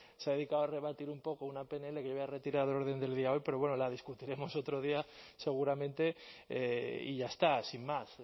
se ha dedicado a rebatir un poco una pnl que yo había retirado del orden del día de hoy pero bueno la discutiremos otro día seguramente y ya está sin más